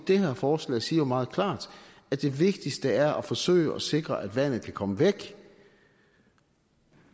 det her forslag siger jo meget klart at det vigtigste er at forsøge at sikre at vandet kan komme væk